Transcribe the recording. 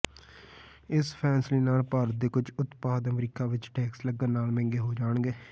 ਇਸ ਫੈਸਲੇ ਨਾਲ ਭਾਰਤ ਦੇ ਕੁਝ ਉਤਪਾਦ ਅਮਰੀਕਾ ਵਿੱਚ ਟੈਕਸ ਲੱਗਣ ਨਾਲ ਮਹਿੰਗੇ ਹੋ ਜਾਣਗੇ